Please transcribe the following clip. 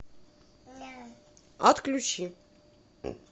отключи